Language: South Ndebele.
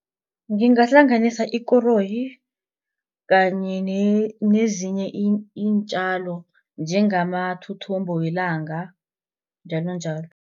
Ngingahlanganisa ikoroyi kanye nezinye iintjalo njengamathuthumbo welanga njalonjalo.